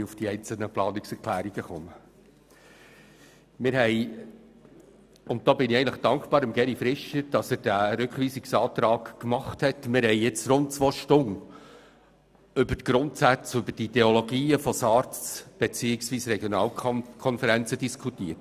Jetzt haben wir – und diesbezüglich bin ich Geri Fischer für das Stellen des Rückweisungsantrags dankbar – während rund zwei Stunden über die Grundsätze und Ideologien von SARZ beziehungsweise der Regionalkonferenzen diskutiert.